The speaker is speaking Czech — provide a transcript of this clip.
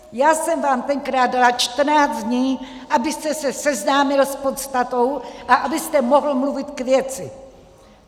Já jsem vám tenkrát dala 14 dní, abyste se seznámil s podstatou a abyste mohl mluvit k věci.